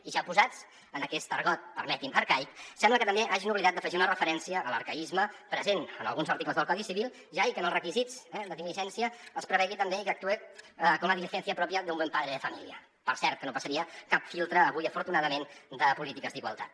i ja posats en aquest argot permetin me arcaic sembla que també s’hagin oblidat d’afegir una referència a l’arcaisme present en alguns articles del codi civil ja i que en els requisits eh de diligència es prevegi també i que actuï con la diligencia propia de un buen padre de familia per cert que no passaria cap filtre avui afortunadament de polítiques d’igualtat